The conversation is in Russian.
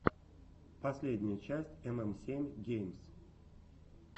последняя часть эм эм семь геймс